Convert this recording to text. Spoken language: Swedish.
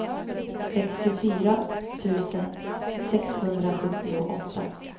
sextiofyra tusen sexhundrasjuttioåtta